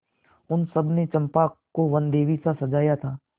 उन सबों ने चंपा को वनदेवीसा सजाया था